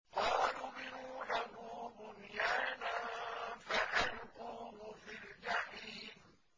قَالُوا ابْنُوا لَهُ بُنْيَانًا فَأَلْقُوهُ فِي الْجَحِيمِ